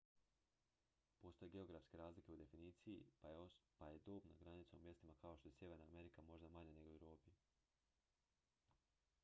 postoje geografske razlike u definiciji pa je dobna granica u mjestima kao što je sjeverna amerika možda manja nego u europi